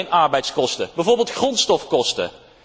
Niet alleen arbeidskosten, maar bijvoorbeeld ook grondstofkosten.